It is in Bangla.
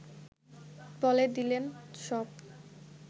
বলে দিলেন সব